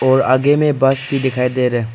और आगे में बस भी दिखाई दे रहे।